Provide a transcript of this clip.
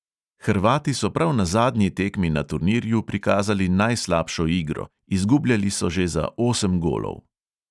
Hrvati so prav na zadnji tekmi na turnirju prikazali najslabšo igro, izgubljali so že za osem golov.